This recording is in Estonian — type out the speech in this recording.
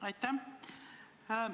Aitäh!